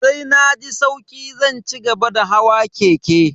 Sai na ji sauki zan cigaba da hawa keke.